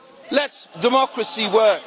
Let democracy work.